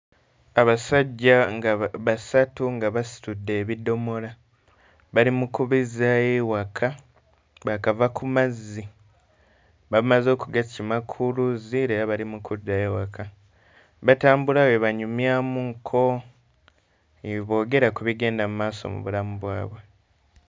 Abasajja nga basatu nga basitudde ebidomola, bali mu kubizzaayo ewaka, baakava ku mazzi, bamaze okugakima ku luzzi era bali mu kuddayo waka. Batambula bwe banyumyamukko, bwe boogera ku bigenda mu maaso mu bulamu bwabwe.